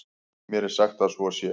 Mér er sagt að svo sé.